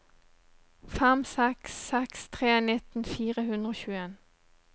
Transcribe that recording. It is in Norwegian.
fem seks seks tre nitten fire hundre og tjueen